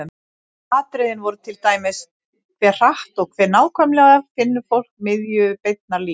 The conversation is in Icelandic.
Atriðin voru til dæmis: Hve hratt og hve nákvæmlega finnur fólk miðju beinnar línu?